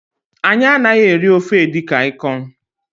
Anyị anaghị eri ofe edikang ikong